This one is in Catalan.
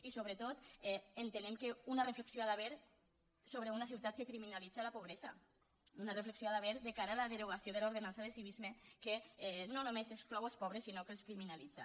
i sobretot entenem que una reflexió hi ha d’haver sobre una ciutat que criminalitza la pobresa una reflexió hi ha d’haver de cara a la derogació de l’ordenança de civisme que no només exclou els pobres sinó que els criminalitza